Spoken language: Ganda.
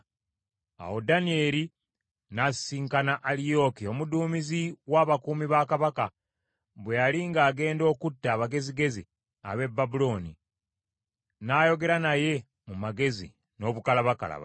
Awo Danyeri n’asisinkana Aliyooki omuduumizi w’abakuumi ba kabaka, bwe yali ng’agenda okutta abagezigezi ab’e Babulooni; n’ayogera naye mu magezi n’obukalabakalaba,